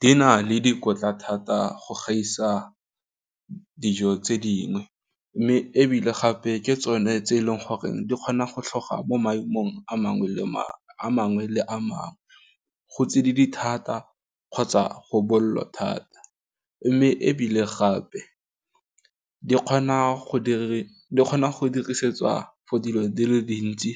Di na le dikotla thata go gaisa dijo tse dingwe mme ebile gape ke tsone tse eleng gore di kgona go tlhoga mo maemong a mangwe le a mangwe, go tsididi thata kgotsa go botlhokwa thata, mme ebile gape di kgona go dirisetswa for dilo di le dintsi,